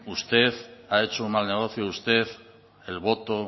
usted ha hecho un mal negocio usted el voto